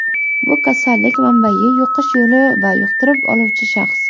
Bu kasallik manbayi, yuqish yo‘li va yuqtirib oluvchi shaxs.